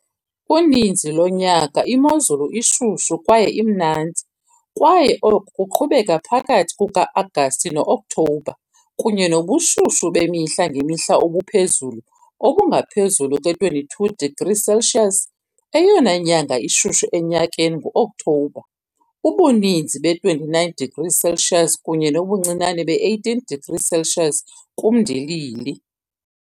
Uninzi lonyaka imozulu ishushu kwaye imnandi, kwaye oku kuqhubeka phakathi kuka-Agasti no-Okthobha, kunye nobushushu bemihla ngemihla obuphezulu obungaphezulu kwe-22 degrees Celsius. Eyona nyanga ishushu enyakeni ngu-Okthobha, ubuninzi be-29 degrees Celsius kunye nobuncinane be-18 degrees Celsius kumndilili.